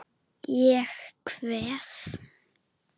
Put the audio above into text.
Ég kveð.